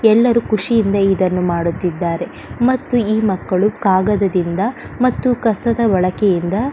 ಎಲ್ಲರು ಖುಷಿಯಿಂದ ಇದನ್ನು ಮಾಡುತಿದ್ದರೆ ಮತ್ತು ಈ ಮಕ್ಕಳು ಕಾಗದದಿಂದ ಮತ್ತು ಕಸದ ಬಳಕೆಯಿಂದ--